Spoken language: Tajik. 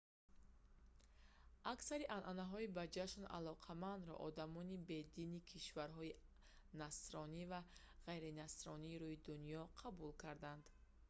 аксари анъанаҳои ба ҷашн алоқамандро одамони бедини кишварҳои насронӣ ва ғайринасронии рӯи дунё қабул карданд